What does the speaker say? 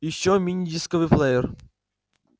ещё мини-дисковый плеер